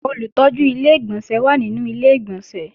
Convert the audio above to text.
Olùtọ́jú Ilé-ìgbọ̀nsẹ̀ wà nínú Ilé-ìgbọ̀nsẹ̀